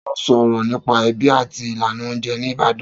Ta ló sọ̀rọ̀ nípa ẹbí àti ìlànà oúnjẹ ní Ìbàdàn?